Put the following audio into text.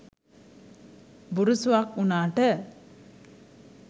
බුරුසුවක් උනාට